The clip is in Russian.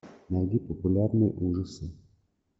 найди популярные ужасы